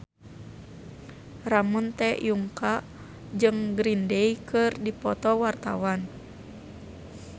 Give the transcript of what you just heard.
Ramon T. Yungka jeung Green Day keur dipoto ku wartawan